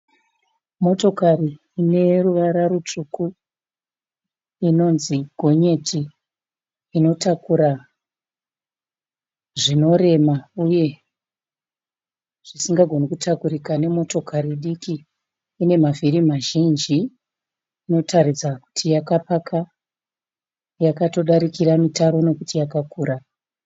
Motokari ineruvara rutsvuku, inonzi gonyeti rinotakura zvinorema, uye zvisingagone kutakurika nemotokari diki. Rinemavhiri mazhinji. Inotaridza kuti takapaka yakatodarikira mutare nekuti yakakura.